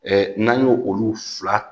n'an y'o olu fila